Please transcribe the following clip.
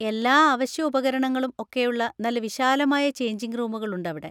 എല്ലാ അവശ്യ ഉപകരണങ്ങളും ഒക്കെയുള്ള നല്ല വിശാലമായ ചെയ്ഞ്ചിങ് റൂമുകളുണ്ട് അവിടെ.